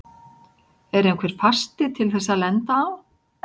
Er einhver fasti til þess að lenda á?